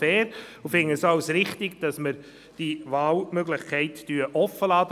Wir erachten es auch als richtig, dass wir die Wahlmöglichkeit offenlassen.